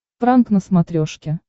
пранк на смотрешке